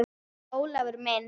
En Ólafur minn.